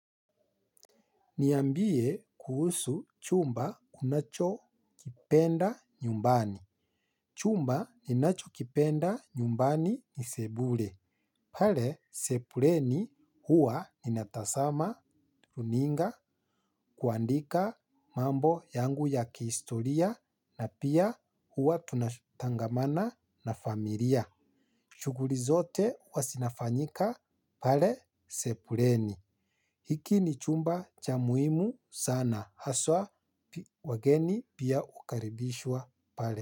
Niambie kuhusu chumba unachokipenda nyumbani. Chumba ninachokipenda nyumbani ni sebule. Pale sebuleni huwa ninatazama, runinga, kuandika mambo yangu ya kihistoria na pia huwa tunatangamana na familia. Chuguri zote huwa zinafanyika pale sebuleni. Hiki ni chumba cha muhimu sana. Haswa wageni pia hukaribishwa pale.